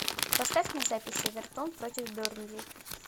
поставь мне запись эвертон против бернли